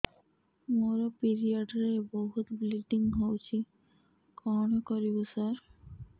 ମୋର ପିରିଅଡ଼ ରେ ବହୁତ ବ୍ଲିଡ଼ିଙ୍ଗ ହଉଚି କଣ କରିବୁ ସାର